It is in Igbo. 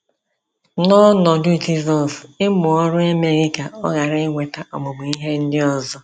N’ọnọdụ Jizọs, ịmụ ọrụ emeghị ka ọ ghara inweta ọmụmụ ihe ndị ọzọ.